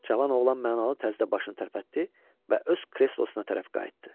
Cavan oğlan mənalı tərzdə başını tərpətdi və öz kreslosuna tərəf qayıtdı.